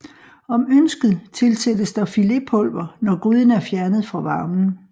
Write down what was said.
Om ønsket tilsættes der filépulver når gryden er fjernet fra varmen